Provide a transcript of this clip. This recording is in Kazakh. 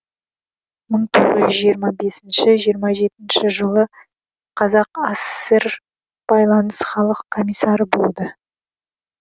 мың тоғыз жүз жиырма бесінші жиырма жетінші жылы қазақ асср байланыс халық комиссары болды